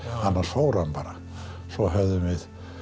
annars fór hann bara svo höfðum við